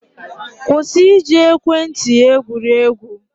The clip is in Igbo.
Kwụsị iji ekwentị egwuri egwu!.